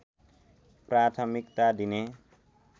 प्राथमिकता दिने